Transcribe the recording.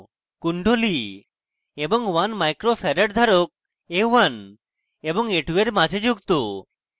কুণ্ডলী এবং 1 uf 1 micro farad ধারক a1 এবং a2 এর মাঝে যুক্ত